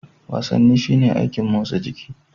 Wasanni shine aikin motsa jiki.